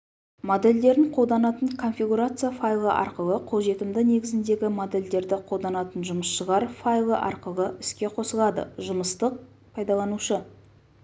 модельдерін қолданатын конфигурация файлы арқылы қолжетімді негізіндегі модельдерді қолданатын жұмысшылар файлы арқылы іске қосылады жұмыстық пайдаланушы